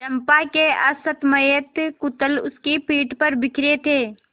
चंपा के असंयत कुंतल उसकी पीठ पर बिखरे थे